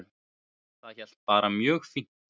Það hélt bara mjög fínt